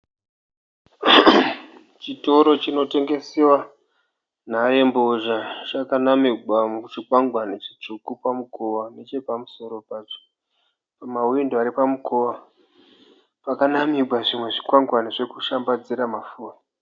Chitoro chinotengesewa nharembozha chakanamirwa zvikwangwani zvitsvuku pamukova nechepamusoro pacho. Pamahwindo pakanamirwa zvimwe zvikwangwani zvekushambadzira mafoni.